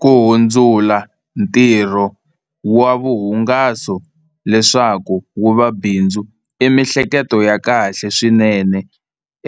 Ku hundzula ntirho wa vuhungaso leswaku wu va bindzu i mihleketo ya kahle swinene